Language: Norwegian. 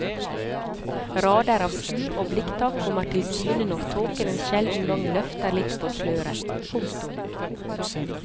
Rader av skur og blikktak kommer til syne når tåken en sjelden gang løfter litt på sløret. punktum